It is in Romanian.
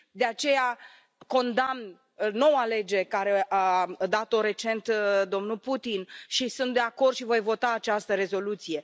De aceea, condamn noua lege pe care a dat o recent domnul Putin și sunt de acord și voi vota această rezoluție.